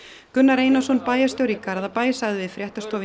Gunnar Einarsson bæjarstjóri í Garðabæ sagði við fréttastofu í